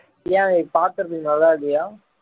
ஏன் இது பாக்குறதுக்கு நல்லா இல்லையா